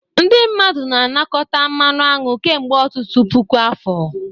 Ndị mmadụ na-anakọta mmanụ aṅụ kemgbe ọtụtụ puku afọ.